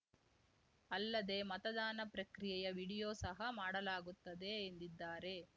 ಅಲ್ಲದೆ ಮತದಾನ ಪ್ರಕ್ರಿಯೆಯ ವಿಡಿಯೋ ಸಹ ಮಾಡಲಾಗುತ್ತದೆ ಎಂದಿದ್ದಾರೆ